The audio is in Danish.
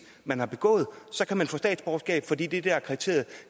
man har begået kan man få statsborgerskab fordi det der er kriteriet